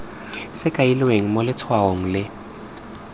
se kailweng mo letshwaong o